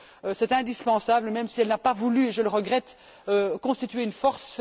C'est indispensable, même si elle n'a pas voulu, et je le regrette, constituer une force.